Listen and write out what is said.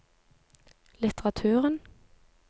litteraturen